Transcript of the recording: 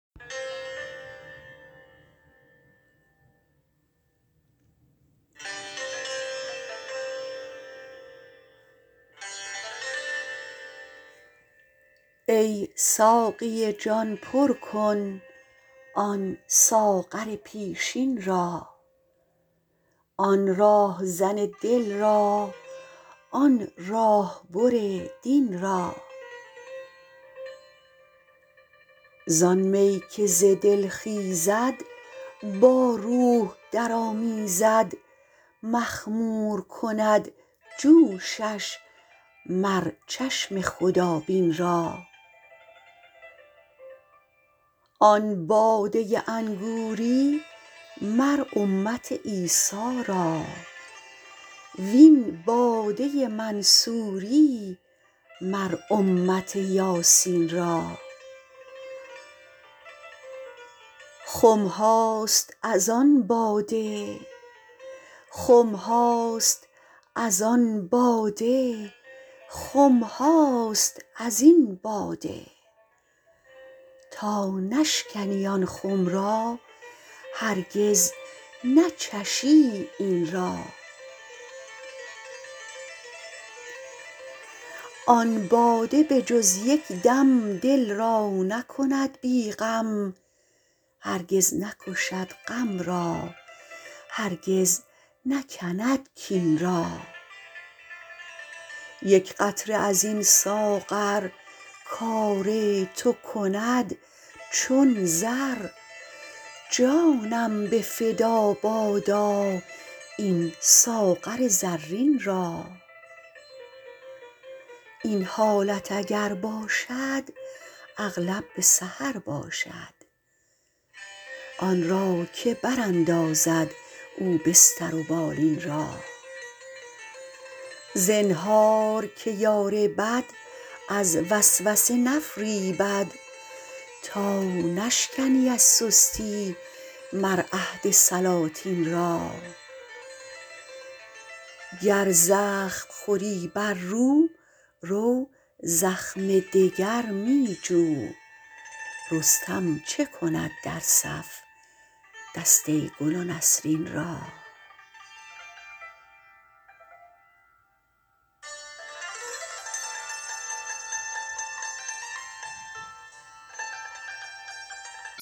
ای ساقی جان پر کن آن ساغر پیشین را آن راهزن دل را آن راه بر دین را زان می که ز دل خیزد با روح درآمیزد مخمور کند جوشش مر چشم خدابین را آن باده انگوری مر امت عیسی را و این باده منصوری مر امت یاسین را خم هاست از آن باده خم هاست از این باده تا نشکنی آن خم را هرگز نچشی این را آن باده به جز یک دم دل را نکند بی غم هرگز نکشد غم را هرگز نکند کین را یک قطره از این ساغر کار تو کند چون زر جانم به فدا باشد این ساغر زرین را این حالت اگر باشد اغلب به سحر باشد آن را که براندازد او بستر و بالین را زنهار که یار بد از وسوسه نفریبد تا نشکنی از سستی مر عهد سلاطین را گر زخم خوری بر رو رو زخم دگر می جو رستم چه کند در صف دسته گل و نسرین را